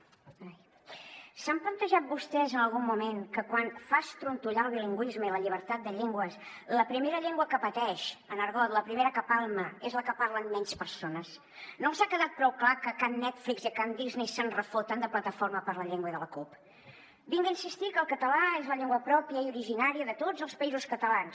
s’han plantejat vostès en algun moment que quan fas trontollar el bilingüisme i la llibertat de llengües la primera llengua que pateix en argot la primera que palma és la que parlen menys persones no els hi ha quedat prou clar que a can netflix i a can disney se’n refoten de plataforma per la llengua i de la cup vinga a insistir que el català és la llengua pròpia i originària de tots els països catalans